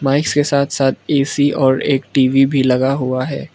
Mics के साथ साथ ऐ_सी और एक टी_वी भी लगा हुआ है।